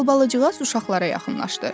Albalıcığaz uşaqlara yaxınlaşdı.